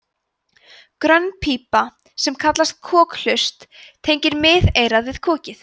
grönn pípa sem kallast kokhlust tengir miðeyrað við kokið